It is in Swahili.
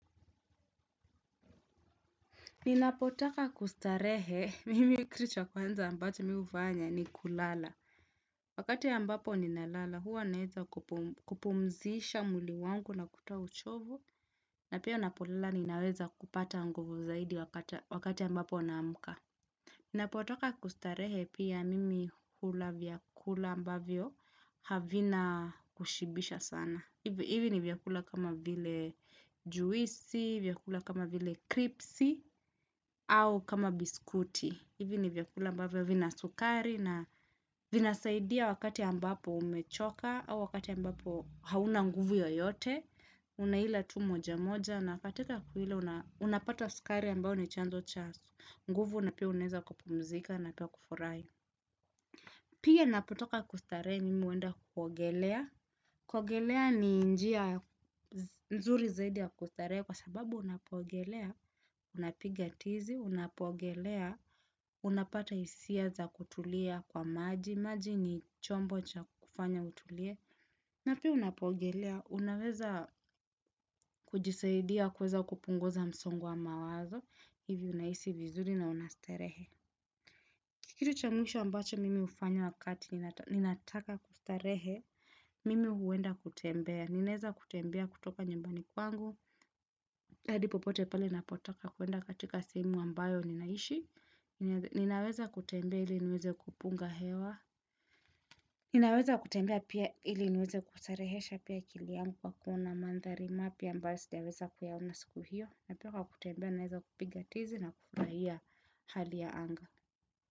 Ninapotaka kustarehe, kitu cha kwanza ambacho mimi hufanya ni kulala. Wakati ambapo ninalala huwa naweza kupumzisha mwili wangu na kutoa uchovu, na pia ninapolala ninaweza kupata nguvu zaidi wakati ambapo naamka. Ninapotaka kustarehe pia mimi hula vyakula ambavyo havina kushibisha sana. Hivi ni vyakula kama vile juisi, vyakula kama vile kripsi, au kama biskuti. Hivi ni vyakula ambavyo vina sukari na vinasaidia wakati ambapo umechoka au wakati ambapo hauna nguvu yoyote. Unaila tu moja moja na katika kula unapata sukari ambayo ni chanzo cha nguvu. Nguvu na pia unaweza kupumzika na pia kufurahi. Pia napotaka kustarehe, mimi huenda kuogelea. Kuogelea ni njia nzuri zaidi ya kustarehe kwa sababu unapoogelea, unapiga tizi, unapoogelea, unapata hisia za kutulia kwa maji, maji ni chombo cha kufanya utulie. Na pia unapoogelea, unaweza kujisaidia kuweza kupunguza msongo wa mawazo, hivi unahisi vizuri na unastarehe. Kitu cha mwisho ambacho mimi hufanya wakati ninataka kustarehe, mimi huenda kutembea, ninaweza kutembea kutoka nyumbani kwangu, hadi popote pale ninapotaka kwenda katika sehemu ambayo ninaishi, ninaweza kutembea ili niweze kupunga hewa, ninaweza kutembea pia ili niweze kustarehesha pia akili yangu, kwa kuona mandhari mapya ambayo siwezi kuyaona. Siku hiyo, na pia kwa kutembea, ninaweza kupiga tizi na kufurahia hali ya anga.